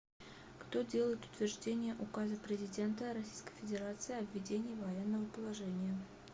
кто делает утверждение указа президента российской федерации о введении военного положения